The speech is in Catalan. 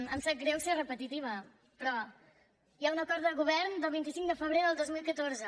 em sap greu ser repetitiva però hi ha un acord de govern del vint cinc de febrer del dos mil catorze